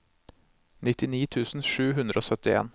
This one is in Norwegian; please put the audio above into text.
nittini tusen sju hundre og syttien